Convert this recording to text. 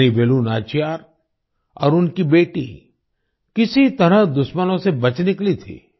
रानी वेलु नाचियार और उनकी बेटी किसी तरह दुश्मनों से बच निकली थीं